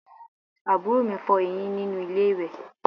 Àbúrò mi ń fọ eyín nínú ilé ìwẹ̀